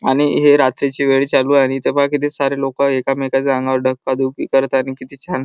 आणि हे रात्रीची वेळ चालू आहे. इथ बघा किती सारे लोक एकामेकांच्या अंगावर धक्काधुक्की करतए आणि किती छान --